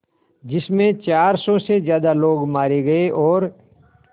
जिस में चार सौ से ज़्यादा लोग मारे गए और